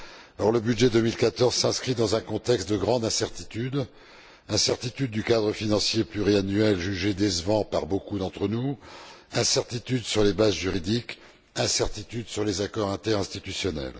Or, le budget 2014 s'inscrit dans un contexte de grande incertitude incertitude du cadre financier pluriannuel, jugé décevant par beaucoup d'entre nous, incertitude sur les bases juridiques, incertitude sur les accords interinstitutionnels.